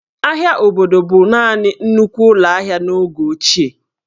Ahịa obodo bụ naanị nnukwu ụlọ ahịa n'oge ochie